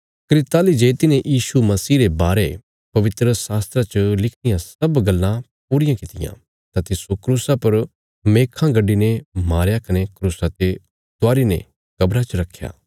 कने ताहली जे तिन्हें यीशु मसीह रे बारे पवित्रशास्त्रा च लिखी रियां सब गल्लां पूरियां कित्तियां तां तिस्सो क्रूसा पर मेखां गड्डीने मारया कने क्रूसा ते उतारी ने कब्रा च रखया